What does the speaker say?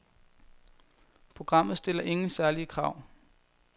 Programmet stiller ingen særlige krav.